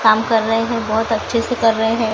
काम कर रहे है बहोत अच्छे से कर रहे हैं।